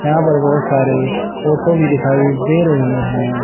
यहां पर बहुत सारे ऑटो भी दिखाई दे रहे हैं।